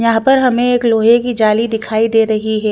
यहाँ पर हमे एक लोहे की जाली दिखाई दे रही है।